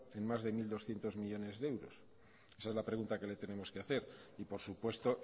en más de mil doscientos millónes de euros esa es la pregunta que le tenemos que hacer y por supuesto